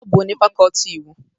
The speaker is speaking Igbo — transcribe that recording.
Ọ bụ onye fakọọti Iwu